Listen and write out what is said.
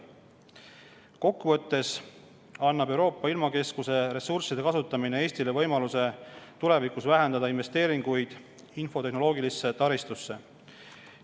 Kokkuvõttes annab Euroopa ilmakeskuse ressursside kasutamine Eestile võimaluse tulevikus vähendada investeeringuid infotehnoloogilisse taristusse.